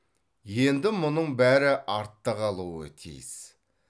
енді мұның бәрі артта қалуы тиіс